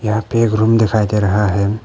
यहाँ पे एक रूम दिखाई दे रहा है।